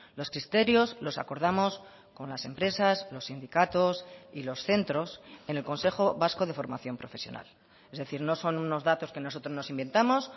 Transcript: los criterios los acordamos con las empresas los sindicatos y los centros en el consejo vasco de formación profesional es decir no son unos datos que nosotros nos inventamos